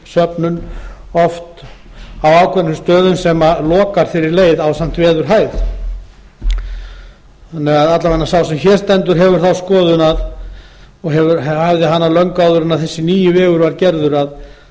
snjósöfnun oft á ákveðnum stöðum sem lokar fyrir leið ásamt veðurhæð þannig að alla vega sá sem hér stendur hefur þá skoðun og hafði hana löngu áður en þessi nýi vegur var gerður að